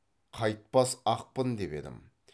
қайтпас ақпын деп едім